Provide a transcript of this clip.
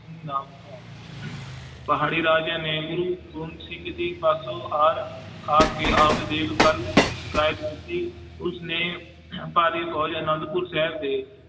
ਨਾਮ ਕਹਾਊਂ ਪਹਾੜੀ ਰਾਜਿਆਂ ਨੇ ਗੁਰੂ ਗੋਬਿੰਦ ਜੀ ਪਾਸੋਂ ਹਾਰ, ਹਾਰ ਕੇ ਆਪਦੀ ਸਿਕਾਇਤ ਕੀਤੀ, ਉਸਨੇ ਭਾਰੀ ਫ਼ੋਜ ਆਨੰਦਪੁਰ ਸਾਹਿਬ ਦੇ